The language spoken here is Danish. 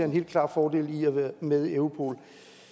en helt klar fordel at være med i europol